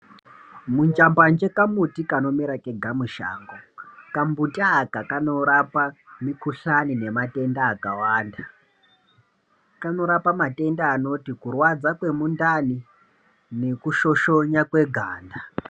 Munjambanje kamuti kanomera kega mushango. Kambuti aka kanorapa mikhuhlani nematenda akawanda. Kanorapa matenda anoti, kurwadza kwemundani nokusvosvona kweganda.